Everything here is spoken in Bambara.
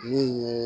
Min ye